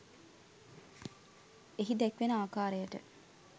එහි දැක්වෙන අකාරයට